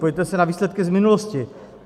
Podívejte se na výsledky z minulosti.